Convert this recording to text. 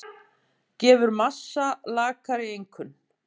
Gefur Massa lakari einkunn